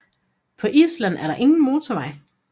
På Island er der ingen motorveje